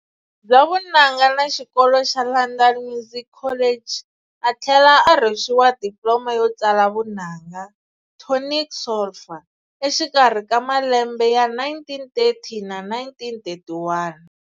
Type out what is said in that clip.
Bya vunanga na xikolo xa London Music College, athlela arhwexiwa Diploma yo tsala vunanga, tonic-solfa, exikarhi ka malembe ya 1930 na 1931.